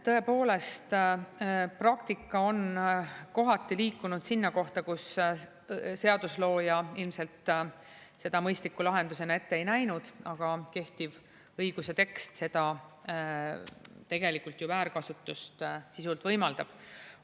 Tõepoolest, praktika on kohati liikunud sinna kohta, kus seaduslooja ilmselt seda mõistliku lahendusena ette ei näinud, aga kehtiv õiguse tekst seda tegelikult ju väärkasutust sisuliselt võimaldab.